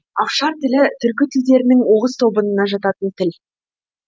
афшар тілі түркі тілдерінің оғыз тобынына жататын тіл